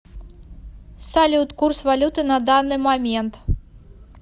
салют курс валюты на данный момент